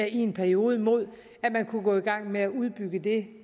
i en periode mod at man kunne gå i gang med at udbygge det